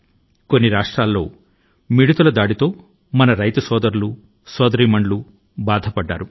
ఇంకా అనేక రాష్ట్రాల లో మన రైతు సోదరులు మన రైతు సోదరీమణులు మిడతల దండు ల భారాన్ని భరించాల్సి వచ్చింది